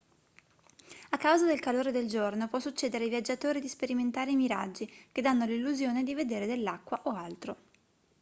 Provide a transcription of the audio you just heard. a causa del calore del giorno può succedere ai viaggiatori di sperimentare i miraggi che danno l'illusione di vedere dell'acqua o altro